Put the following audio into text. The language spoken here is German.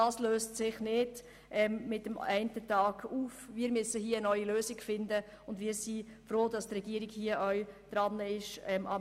Hier müssen wir eine neue Lösung finden, und wir sind froh, dass die Regierung daran arbeitet.